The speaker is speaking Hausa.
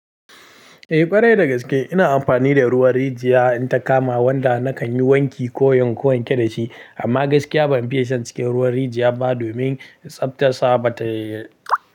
Eh ƙwarai da gaske ina amfani da ruwan rijiya in ta kama, wanda na kan yi wanki ko in wanke wanke da shi. Amma gaskiya ban fiye shan cikin ruwan rijiya ba domin tsabtar sa ba ta yi.